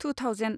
two thousand